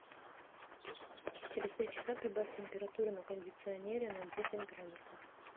через три часа прибавь температуру на кондиционере на десять градусов